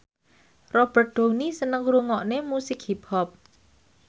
Robert Downey seneng ngrungokne musik hip hop